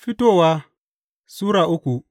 Fitowa Sura uku